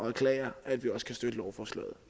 erklære at vi også kan støtte lovforslaget